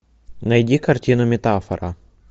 найди картину метафора